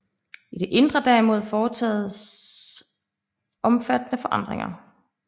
I det indre derimod foretoges omfattende forandringer